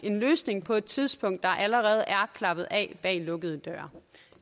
en løsning på et tidspunkt der allerede er klappet af bag lukkede døre